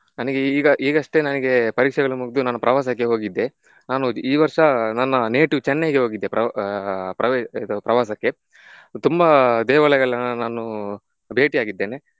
ನನಿಗೆ ಈಗ ಈಗಷ್ಟೇ ನನಿಗೆ ಪರೀಕ್ಷೆಗಳು ಮುಗ್ದು ನಾನು ಪ್ರವಾಸಕ್ಕೆ ಹೋಗಿದ್ದೆ. ನಾನು ಈ ವರ್ಷ ನನ್ನ native ಚೆನ್ನೈಗೆ ಹೋಗಿದ್ದೆ ಪ್ರವ~ ಆಹ್ ಪ್ರವೇ~ ಇದು ಪ್ರವಾಸಕ್ಕೆ. ತುಂಬಾ ದೇವಾಲಯಗಳನ್ನ ನಾನು ಭೇಟಿ ಆಗಿದ್ದೇನೆ.